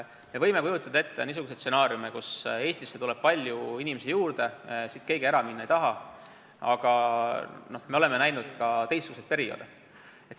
Me võime ette kujutada stsenaariume, et Eestisse tuleb palju inimesi juurde ja siit keegi ära minna ei taha, aga me oleme näinud ka teistsuguseid perioode.